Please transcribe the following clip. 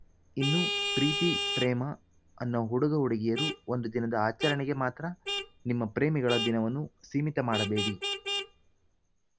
ಇನ್ನೂ ಪ್ರೀತಿ ಪ್ರೇಮ ಅನ್ನೋ ಹುಡುಗ ಹುಡುಗಿಯರು ಒಂದು ದಿನದ ಆಚರಣೆಗೆ ಮಾತ್ರ ನಿಮ್ಮ ಪ್ರೇಮಿಗಳ ದಿನವನ್ನು ಸೀಮಿತ ಮಾಡಬೇಡಿ